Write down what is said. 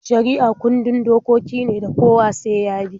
Shari'a kundin dokoki ne da kowa sai ya bi.